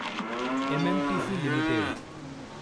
MMTC limited